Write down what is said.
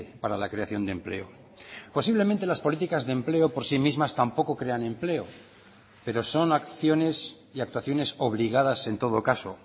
para la creación de empleo posiblemente las políticas de empleo por sí mismas tampoco crean empleo pero son acciones y actuaciones obligadas en todo caso